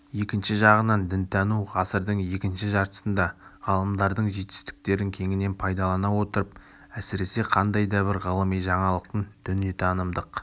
екінші жағынан дінтану ғасырдың екінші жартысында ғалымдардың жетістіктерін кеңінен пайдалана отырып әсіресе қандай да бір ғылыми жаңалықтың дүниетанымдық